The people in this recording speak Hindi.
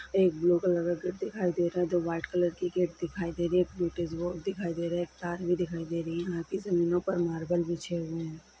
एक ब्लू कलर का गेट दिखाई दे रहा है दो व्हाइट कलर की गेट दिखाई दे रही है एक बॉक्स भी दिखाई दे रहा है एक तार भी दिखाई दे रही यहां पे जमीनों पे मार्बल बिछी हुई है।